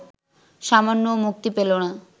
সামান্যও মুক্তি পেল না